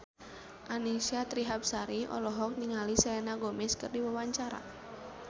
Annisa Trihapsari olohok ningali Selena Gomez keur diwawancara